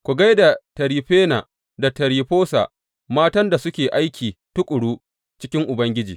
Ku gai da Tiryifena da Tiryifosa, matan nan da suke aiki tuƙuru cikin Ubangiji.